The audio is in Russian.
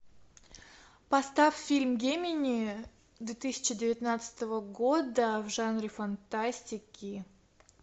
поставь фильм гемини две тысячи девятнадцатого года в жанре фантастики